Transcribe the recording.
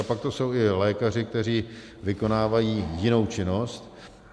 A pak to jsou i lékaři, kteří vykonávají jinou činnost.